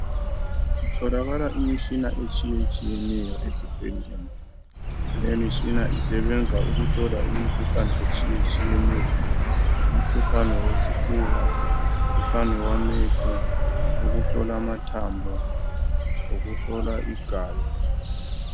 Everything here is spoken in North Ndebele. Kutholakala imitshina etshiye tshiyeneyo ezibhedlela. Lemitshina isebenza ukuhlola imikhuhlane etshiye tshiyeneyo. Umkhuhlane wesifuba, umkhuhlane wamehlo , ukuhlola mathambo ukuhlola igazi .